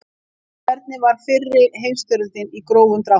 Hvernig var fyrri heimstyrjöldin í grófum dráttum?